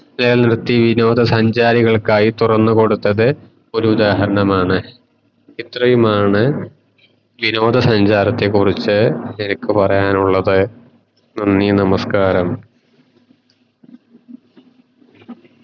വിനോദ സഞ്ചാരികൾക്കയി തുറന്നു കൊടുത്തത് ഒരു ഉദാഹരണമാണ് ഇത്രയുമാണ് വിനോദ സഞ്ചത്തെ കുറിച് എനിക്ക് പറയാനുള്ളത് നന്ദി നാമസക്കാരം